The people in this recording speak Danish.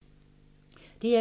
DR2